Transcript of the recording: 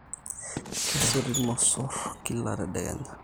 Kesoti irmosor kila tedekenya